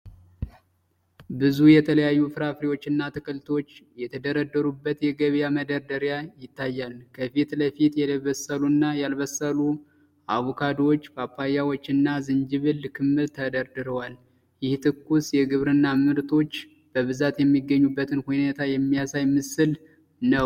ብዙ የተለያዩ ፍራፍሬዎችና አትክልቶች የተደረደሩበት የገበያ መደርደሪያ ይታያል። ከፊት ለፊት የበሰሉና ያልበሰሉ አቮካዶዎች፣ ፓፓያዎች እና የዝንጅብል ክምር ተደርድረዋል። ይህ ትኩስ የግብርና ምርቶች በብዛት የሚገኙበትን ሁኔታ የሚያሳይ ምስል ነው።